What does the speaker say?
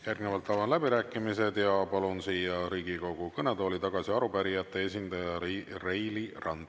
Järgnevalt avan läbirääkimised ja palun siia Riigikogu kõnetooli tagasi arupärijate esindaja Reili Ranna!